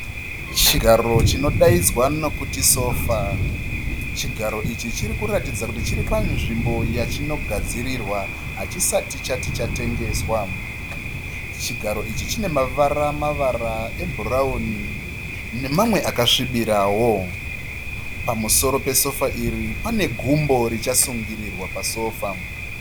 Chigaro chinodaidzwa nokuti sofa, chigaro ichi chiri kuratidza kuti chiri panzvimbo yachino gadzirirwa hachisati chati chatengeswa. Chigaro ichi chine mavara mavara ebhurauni nemamwe akasvibirawo. Pamusoro pesora iri pane gumbo richasungirirwa pasofa.